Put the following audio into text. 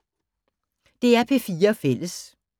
DR P4 Fælles